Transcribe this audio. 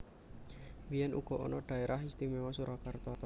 Biyèn uga ana Dhaérah Istiméwa Surakarta